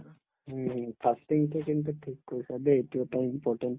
হুম হুম, fasting তো কিন্তু ঠিক কৈছা দেই এইটো এটা important